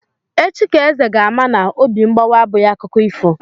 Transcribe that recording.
Echi ka Eze ga-ama na obi mgbawa abụghị akụkọ ifo.